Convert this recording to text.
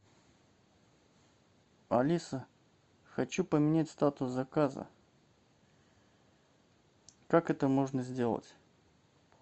алиса хочу поменять статус заказа как это можно сделать